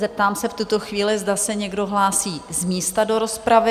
Zeptám se v tuto chvíli, zda se někdo hlásí z místa do rozpravy?